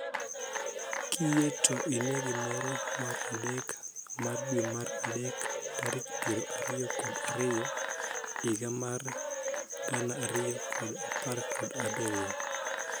Kiyie to ine gimoro mar adek marn dwe mar adek tarik piero ariyo kod ariyo higa mar gana ariyo kod apar kod abirio.